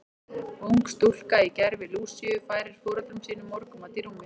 Ung stúlka í gervi Lúsíu færir foreldrum sínum morgunmat í rúmið.